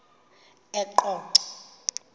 eqonco